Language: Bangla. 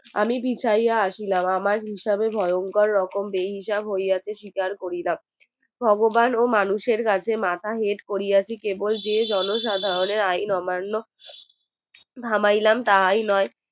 আমি বিছাইয়া আছিলাম আমার হিসাবে ভয়ংকর রকম বেহিসাব হইয়াছে শিকার করিলাম ভগবান ও মানুষের কাছে মাথা হেঁট করিয়াছি কেবল যে জনসাধারণের আইন অমান্য থামাইলাম তাহাই নই